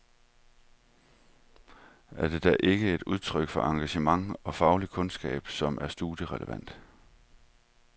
Er det da ikke et udtryk for engagement og faglige kundskaber, som er studierelevante.